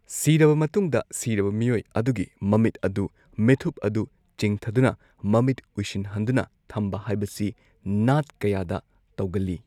ꯁꯤꯔꯕ ꯃꯇꯨꯡꯗ, ꯁꯤꯔꯕ ꯃꯤꯑꯣꯏ ꯑꯗꯨꯒꯤ ꯃꯃꯤꯠ ꯑꯗꯨ ꯃꯤꯠꯊꯨꯞ ꯑꯗꯨ ꯆꯤꯡꯊꯗꯨꯅ ꯃꯃꯤꯠ ꯎꯏꯁꯤꯟꯍꯟꯗꯨꯅ ꯊꯝꯕ ꯍꯥꯏꯕꯁꯤ ꯅꯥꯠ ꯀꯌꯥꯗ ꯇꯧꯒꯜꯂꯤ꯫